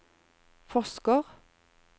forsker